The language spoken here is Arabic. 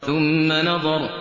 ثُمَّ نَظَرَ